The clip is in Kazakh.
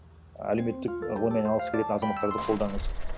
әлеуметтік ғылыммен айналғысы келетін азаматтарды қолдаңыз